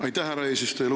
Aitäh, härra eesistuja!